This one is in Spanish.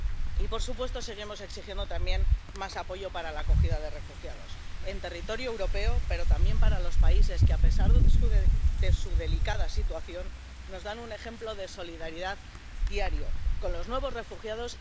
Y, por supuesto, seguimos exigiendo también más apoyo para la acogida de refugiados en territorio europeo, pero también para los países que, a pesar de su delicada situación, nos dan un ejemplo de solidaridad diario con los nuevos refugiados